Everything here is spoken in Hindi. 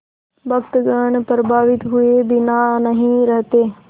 भक्तगण प्रभावित हुए बिना नहीं रहते